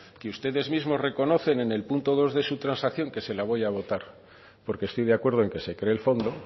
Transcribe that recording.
que ustedes mismos reconocen en el punto dos de su transacción que se la voy a votar porque estoy de acuerdo en que se cree el fondo